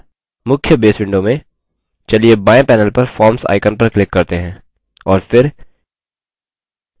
मुख्य base window में चलिए बाएँ panel पर forms icon पर click करते हैं